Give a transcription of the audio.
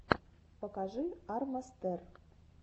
покажи арма стер